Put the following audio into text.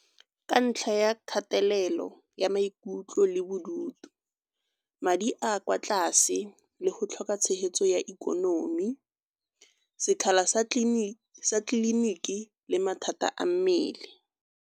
Ka ntlha ya kgatelelo ya maikutlo le bodutu, madi a kwa tlase le go tlhoka tshegetso ya ikonomi, sekgala sa tleliniki le mathata a mmele.